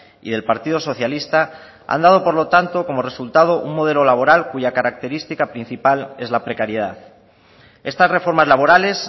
y del partido socialista han dado por lo tanto como resultado un modelo laboral cuya característica principal es la precariedad estas reformas laborales